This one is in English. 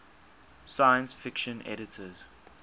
science fiction editors